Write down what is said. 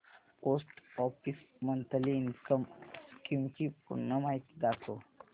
post office monthly income scheme ची पूर्ण माहिती दाखव